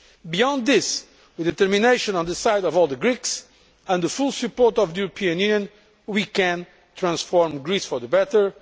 Beyond this, with the determination on the side of all the Greeks and the full support of the European Union, we can transform Greece for the better.